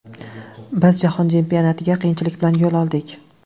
Biz Jahon Chempionatiga qiyinchilik bilan yo‘l oldik.